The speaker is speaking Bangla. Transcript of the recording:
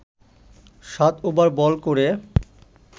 সাত ওভার বল করে